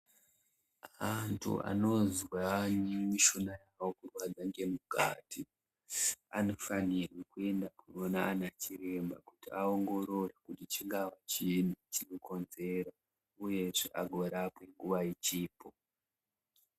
Antu anozwa mishuna yawo kurwadza ngemukati anofanire kuenda koona anachiremba kuti aongorore kuti chingaa chiini chinokonzera uyezve agorapwe nguwa ichipo.